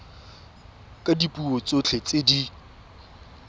ka dipuo tsotlhe tse di